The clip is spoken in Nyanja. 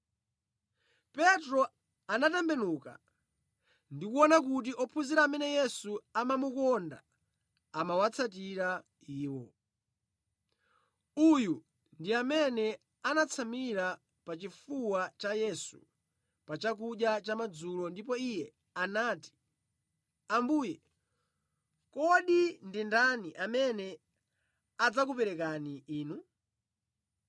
Petro anatembenuka ndi kuona kuti ophunzira amene Yesu amamukonda amawatsatira iwo. (Uyu ndi amene anatsamira pachifuwa cha Yesu pa chakudya chamadzulo ndipo iye anati, “Ambuye, kodi ndi ndani amene adzakuperekani Inu?”